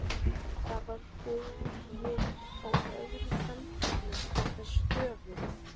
Það var borði á öðrum handleggnum með stöfunum